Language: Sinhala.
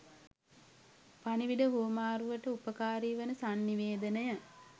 පණිවිඩ හුවමාරුවට උපකාරී වන සන්නිවේදනය,